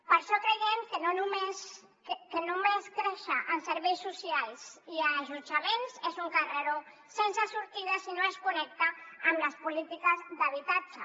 per això creiem que no només créixer en serveis socials i allotjaments és un carreró sense sortida si no es connecta amb les polítiques d’habitatge